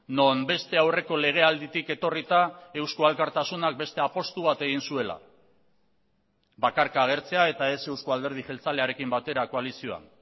non beste aurreko legealditik etorrita eusko alkartasunak beste apustu bat egin zuela bakarka agertzea eta ez euzko alderdi jeltzalearekin batera koalizioan